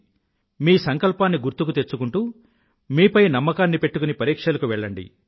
మీ సంకల్పాన్ని గుర్తుకు తెచ్చుకుంటూ మీ పై నమ్మకాన్ని పెట్టుకుని పరీక్షలకు వెళ్ళండి